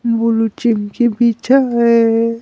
बोलो चिमकी पीछा है।